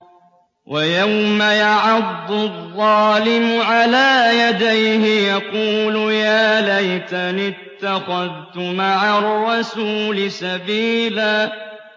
وَيَوْمَ يَعَضُّ الظَّالِمُ عَلَىٰ يَدَيْهِ يَقُولُ يَا لَيْتَنِي اتَّخَذْتُ مَعَ الرَّسُولِ سَبِيلًا